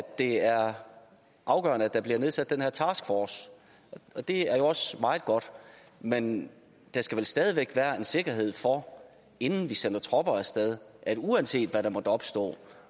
det er afgørende at der bliver nedsat den her taskforce og det er jo også meget godt men der skal vel stadig væk være sikkerhed for inden vi sender tropper af sted uanset hvad der måtte opstå